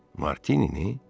Martinini?